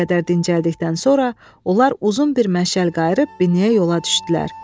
Bir qədər dincəldikdən sonra onlar uzun bir məşəl qayıb binyəyə yola düşdülər.